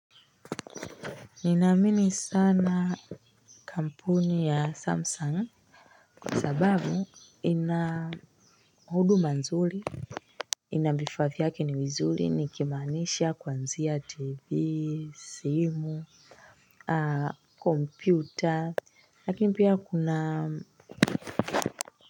Ninamini sana kampuni ya Samsung kwa sababu ina huduma nzuri, vifaa vyake ni vizuri nikimaanisha kwanzia TV, simu, kompyuta lakini pia kuna.